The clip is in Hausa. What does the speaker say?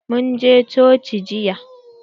Mun je coci jiya.